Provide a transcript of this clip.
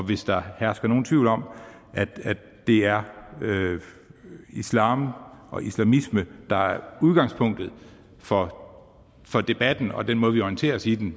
hvis der hersker nogen tvivl om at det er islam og islamisme der er udgangspunktet for for debatten og den måde vi orienterer os i den